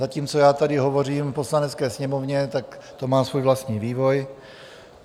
Zatímco já tady hovořím v Poslanecké sněmovně, tak to má svůj vlastní vývoj.